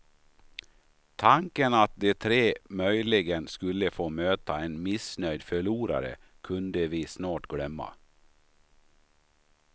Tanken att de tre möjligen skulle få möta en missnöjd förlorare kunde vi snart glömma.